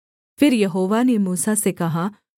फिर यहोवा ने मूसा से कहा